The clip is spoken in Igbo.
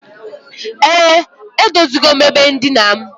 E, edozigom ebe ndina m.